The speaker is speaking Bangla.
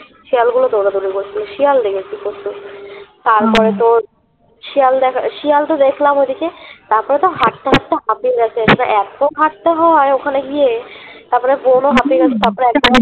শিয়ালগুলো দৌড়াদৌড়ি করছিলো শিয়াল দেখেছি প্রচুর তারপরে তোর শিয়াল দেখা শিয়াল তো দেখলাম ঐদিকে তারপরে তো হাটতে হাটতে হাতির কাছে এসে এত হাটতে হয় ওখানে গিয়ে তারপরে বোনো হাতির কাছে তারপরে